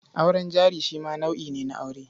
Auren jari shi ma nau'i ne na aure.